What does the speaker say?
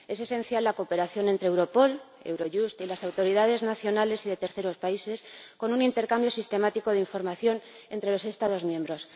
Es esencial la cooperación entre Europol, Eurojust y las autoridades nacionales y de terceros países, con un intercambio sistemático de información entre los Estados miembros.